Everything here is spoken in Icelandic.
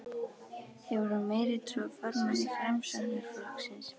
Hefur hún meiri trú á formanni Framsóknarflokksins?